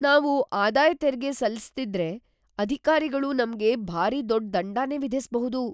ನಾವು ಆದಾಯ್ ತೆರಿಗೆ ಸಲ್ಲಿಸ್ದಿದ್ರೆ, ಅಧಿಕಾರಿಗಳು ನಮ್ಗೆ‌ ಭಾರೀ ದೊಡ್ಡ್ ದಂಡನೇ ವಿಧಿಸ್ಬಹುದು.